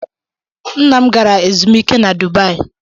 Nna m gara ezumike na Dubai.